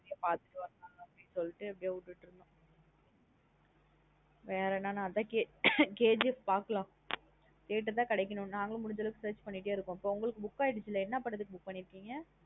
Positive அப்டியே சொல்லிட்டு விட்டு இருந்தோம் அஹ வேற என்ன நா அதன் KGF பாக்கலாம் theatre தான் கிடைக்கணும். நாங்களும் முடிஞ்சா அளவுக்கு search பன்ணிட்டே இருக்கோம் உங்களுக்கு book அயிடுசுல என்ன படதுக்கு book பண்ணிருக்கீங்க.